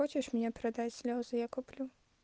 хочешь мне продать слезы я куплю